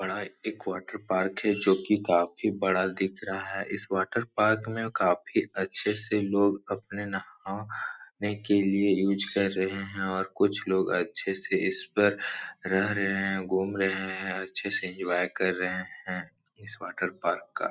बड़ा एक वाटरपार्क है जो कि काफ़ी बड़ा दिख रहा है। इस वाटरपार्क में काफ़ी अच्छे से लोग अपने न हाने के लिए यूज़ कर रहे हैं और कुछ लोग अच्छे इस पर रह रहे हैं घूम रहे हैं अच्छे से इन्जॉय कर रहे हैं इस वाटरपार्क का।